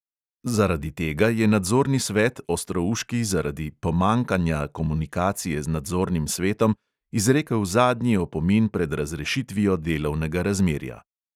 Zaradi tega je nadzorni svet ostrouški zaradi "pomanjkanja komunikacije z nadzornim svetom" izrekel zadnji opomin pred razrešitvijo delovnega razmerja.